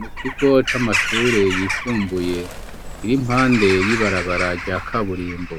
Mukigo c'amashure yisumbuye kir'impande y'ibarabara rya kaburimbo